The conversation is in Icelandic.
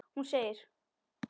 Hún segir